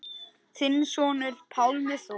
Þinn sonur, Pálmi Þór.